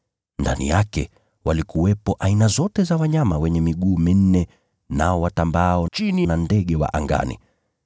Ndani yake walikuwepo aina zote za wanyama wenye miguu minne, nao watambaao nchini, na ndege wa angani.